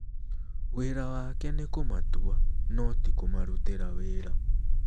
Wĩra wake nĩ kũmatua, no ti kũmarutĩra wĩra".